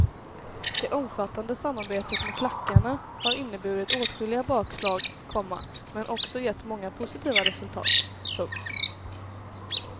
Det omfattande samarbetet med klackarna har inneburit åtskilliga bakslag, komma men också gett många positiva resultat. punkt